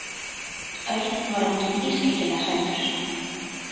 Örn var orðinn ískyggilega hræddur.